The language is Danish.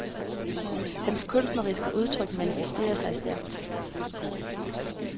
Hans kunstneriske udtryk manifesterer sig stærkt.